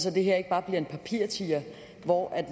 at det her ikke bare bliver en papirtiger hvor